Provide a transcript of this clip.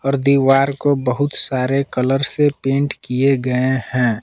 और दीवार को बहुत सारे कलर से पेंट किए गए हैं।